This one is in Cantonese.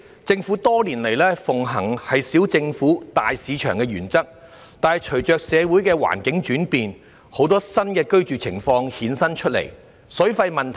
政府多年來奉行"小政府，大市場"的原則，但隨着社會環境轉變，衍生出很多新的居住情況，亦由此凸顯出有關水費的問題。